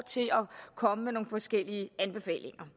til at komme med nogle forskellige anbefalinger